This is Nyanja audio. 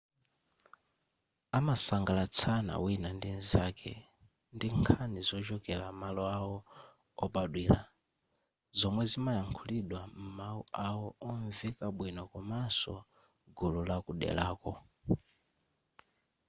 amasangalatsana wina ndi m'zake ndi nkhani zochokera maloawo obadwira zomwe zimayankhulidwa m'mawu awo omveka bwino komanso gulu la kudelalo